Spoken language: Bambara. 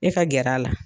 E ka gɛrɛ a la